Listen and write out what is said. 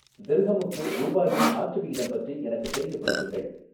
திர்ஹமுக்கு ரூபாயின் மாற்று விகிதம் பற்றி எனக்குத் தெரியப்படுத்துங்கள்